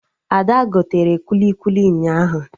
Ada gotere kwili kwili ụnyaahụ